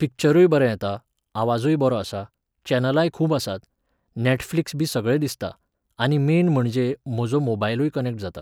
पिक्चरूय बरें येता, आवाजूय बरो आसा, चॅनलांय खूब आसात, नॅटफ्लिक्सबी सगळें दिसता, आनी मेन म्हणजे म्हजो मोबायलूय कनॅक्ट जाता.